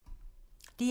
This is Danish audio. DR2